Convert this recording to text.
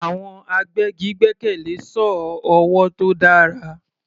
Àwọn agbẹ́gi gbẹ́kẹ̀lé sọ́ọ̀ ọwọ́ tó dára.